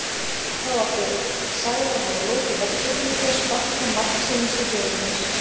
Þá átti Sævar að hafa lokið verkinu með því að sparka margsinnis í höfuð hans.